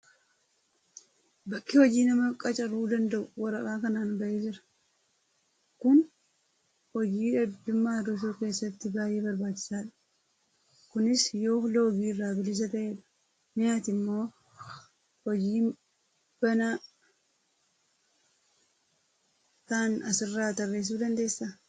Bakki hojii nama qacaruu danda'u waraqaa kanaan bahee jira. Kun hojii dhabdummaa hir'isuu keessatti baay'ee barbaachisaa dha. Kunis yoo loogii irraa bilisa ta'edha. Mee ati immoo hojii banaa ta'an asirraa tarreessuu dandeessaa?